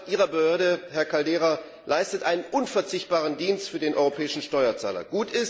Die Arbeit Ihrer Behörde, Herr Caldeira, leistet einen unverzichtbaren Dienst für den europäischen Steuerzahler.